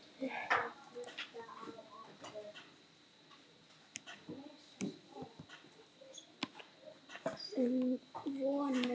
Öllu snúið á hvolf.